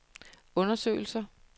undersøgelser